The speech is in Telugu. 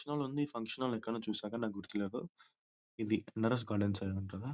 ఫంక్షన్ హాల్ ఉంది ఈ ఫంక్షన్ హాల్ నెక్కడైనా చూసారా నాకు గుర్తులేదు ఇది నరాస్ గార్డెన్స్ అయిఉంటాద.